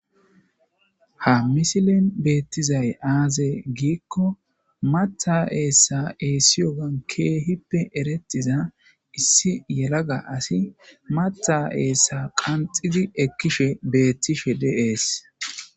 ha misilin beettizay aaze giikko matha eessa eessiyogan keehippe erettiza issi yelaga asi mata eessa qanxidi ekkishe beettishe deees